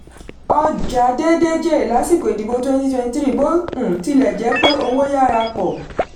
ọjà déédé jèrè lásìkò ìdìbò 2023 bó um tilẹ̀ jẹ́ pé owó yára pọ̀.